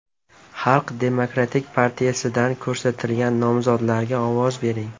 Xalq demokratik partiyasidan ko‘rsatilgan nomzodlarga ovoz bering!